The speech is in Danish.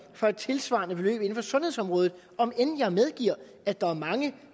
for et tilsvarende beløb inden for sundhedsområdet om end jeg medgiver at der er mange